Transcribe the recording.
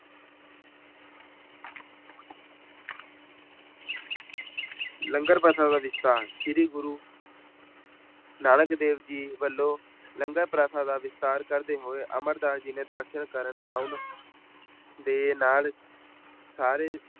ਲੰਗਰ ਪ੍ਰਥਾ ਦਾ ਵਿਸਥਾਰ ਸ੍ਰੀ ਗੁਰੂ ਨਾਨਕ ਦੇਵ ਜੀ ਵੱਲੋਂ ਲੰਗਰ ਪ੍ਰਥਾ ਦਾ ਵਿਸਥਾਰ ਹੋਏ ਅਮਰਦਾਸ ਜੀ ਨੇ ਦਰਸਨ ਕਰਨ ਆਉਣ ਦੇ ਨਾਲ ਸਾਰੇ